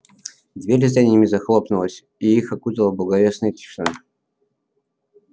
дверь за ними захлопнулась и их окутала благовестная тишина